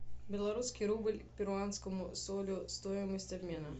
белорусский рубль к перуанскому солю стоимость обмена